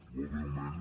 molt breument